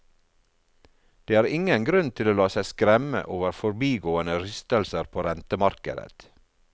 Det er ingen grunn til å la seg skremme over forbigående rystelser på rentemarkedet.